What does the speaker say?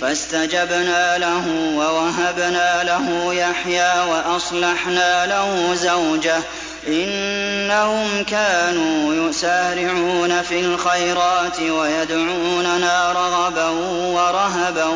فَاسْتَجَبْنَا لَهُ وَوَهَبْنَا لَهُ يَحْيَىٰ وَأَصْلَحْنَا لَهُ زَوْجَهُ ۚ إِنَّهُمْ كَانُوا يُسَارِعُونَ فِي الْخَيْرَاتِ وَيَدْعُونَنَا رَغَبًا وَرَهَبًا ۖ